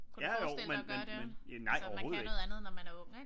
Ja jo men nej overhovedet ikke